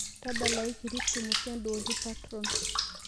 tadalayu kirisimus e dolly parton